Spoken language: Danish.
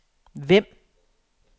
Vemb